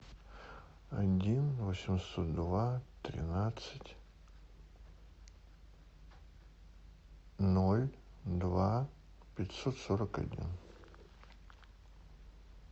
один восемьсот два тринадцать ноль два пятьсот сорок один